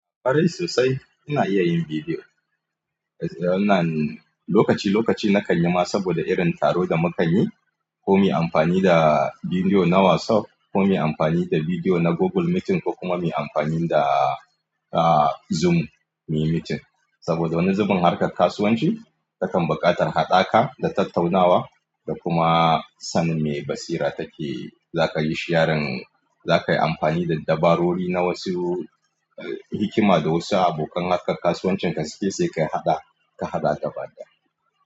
Kwarai sosai ina iya yin bidiyo. Lokaci lokaci na kan yi ma saboda irin taro da muka yi ko muyi amfani da bidiyo na WhatsApp ko muyi amfani da bidiyo na Google meeting ko kuma muyi amfani da Zoom meeting. Saboda wani zubin harkar kasuwanci takan buƙatar haɗaka da tattaunawa da kuma sanin me basira take za ka yi sharing. Za ka yi amfani da dabarori na wasu hikima da wasu abokan harkar kasuwancin ka suke sai ka haɗa, ka haɗa gabaɗaya.